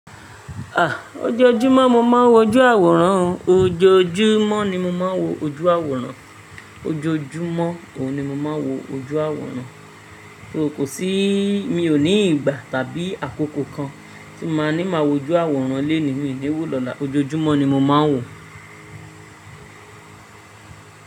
À, ojoojúmọ́ mo máa ń wo ojú àwòrán. Ojoojúmọ́ ni mo máa ń wo ojú àwòrán. Ojoojúmọ́, òun ni mo máa ń wo ojú àwòrán. Ko sí, mi ò ní ìgbà tàbí àkókò kan tí màá ní máa wo ojú àwòrán lénìí mi ni wò lọ́la. Ojoojúmọ́ ni mo máa ń wò ó.